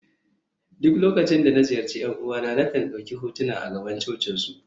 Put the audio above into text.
duk lokacin da na ziyarci ’yan uwana, na kan dauki hotuna a gaban cocinsu